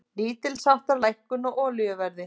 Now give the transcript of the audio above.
Lítilsháttar lækkun á olíuverði